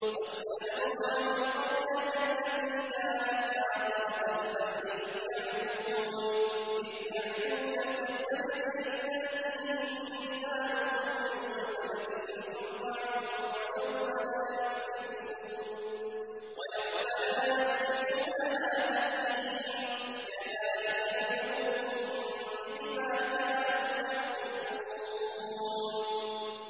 وَاسْأَلْهُمْ عَنِ الْقَرْيَةِ الَّتِي كَانَتْ حَاضِرَةَ الْبَحْرِ إِذْ يَعْدُونَ فِي السَّبْتِ إِذْ تَأْتِيهِمْ حِيتَانُهُمْ يَوْمَ سَبْتِهِمْ شُرَّعًا وَيَوْمَ لَا يَسْبِتُونَ ۙ لَا تَأْتِيهِمْ ۚ كَذَٰلِكَ نَبْلُوهُم بِمَا كَانُوا يَفْسُقُونَ